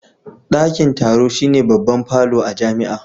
Dakin taro shine babban falo a jami'a